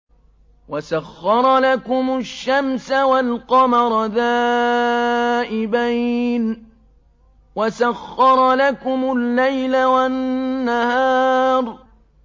وَسَخَّرَ لَكُمُ الشَّمْسَ وَالْقَمَرَ دَائِبَيْنِ ۖ وَسَخَّرَ لَكُمُ اللَّيْلَ وَالنَّهَارَ